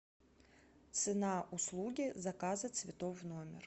цена услуги заказа цветов в номер